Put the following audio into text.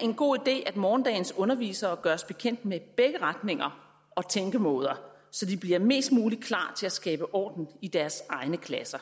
en god idé at morgendagens undervisere gøres bekendt med begge retninger og tænkemåder så de bliver mest muligt klar til at skabe orden i deres egne klasser